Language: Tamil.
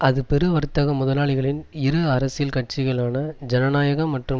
அது பெரு வர்த்தக முதலாளிகளின் இரு அரசியல் கட்சிகளான ஐனநாயக மற்றும்